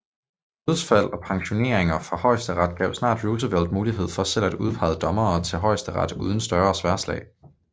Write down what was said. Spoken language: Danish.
Dødsfald og pensioneringer fra Højesteret gav snart Roosevelt mulighed for selv at udpege dommere til Højesteret uden større sværdslag